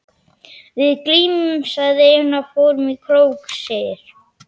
Við glímdum, segir Einar, fórum í krók, segir